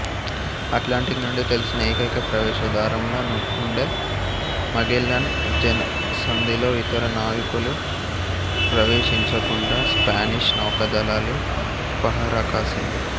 Atlantic నుండి తెలిసిన ఏకైక ప్రవేశ ద్వారంలా ఉండే మాగెల్లాన్ జలసంధిలో ఇతర నావికులు ప్రవేశించకుండా స్పానిష్ నౌకాదళాలు పహరాకాసింది